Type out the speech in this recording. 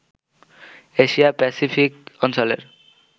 Asia Pacific অঞ্চলের